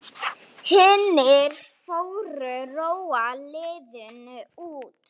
Hinir fjórir róa lóðina út.